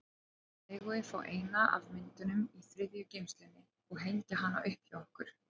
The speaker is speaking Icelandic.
Megum við fá eina af myndunum í þriðju geymslunni og hengja hana upp hjá okkur?